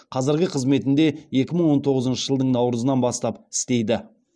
қазіргі қызметінде екі мың он тоғызыншы жылдың наурызынан бастап істейді